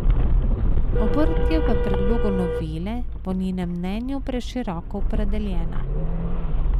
Obrt je v predlogu novele po njenem mnenju preširoko opredeljena.